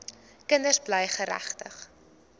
kinders bly geregtig